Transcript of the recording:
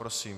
Prosím.